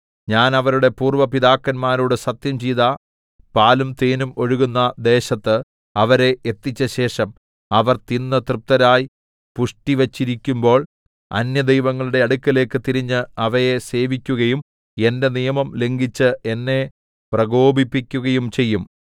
ഞാൻ അവരുടെ പൂര്‍വ്വ പിതാക്കന്മാരോട് സത്യംചെയ്ത പാലും തേനും ഒഴുകുന്ന ദേശത്ത് അവരെ എത്തിച്ചശേഷം അവർ തിന്നു തൃപ്തരായി പുഷ്ടിവച്ചിരിക്കുമ്പോൾ അന്യദൈവങ്ങളുടെ അടുക്കലേക്ക് തിരിഞ്ഞ് അവയെ സേവിക്കുകയും എന്റെ നിയമം ലംഘിച്ച് എന്നെ പ്രകോപിപ്പിക്കുകയും ചെയ്യും